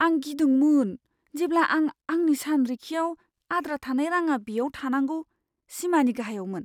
आं गिदोंमोन जेब्ला आं आंनि सानरिखिआव आद्रा थानाय रांआ बेयाव थानांगौ सिमानि गाहायावमोन।